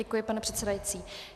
Děkuji, pane předsedající.